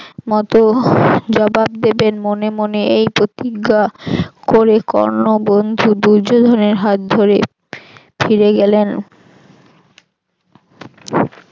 মত জবাব দেবেন মনে মনে এই প্রতিজ্ঞা করে কর্ণ বন্ধু দুর্যোধনের হাত ধরে ফিরে গেলেন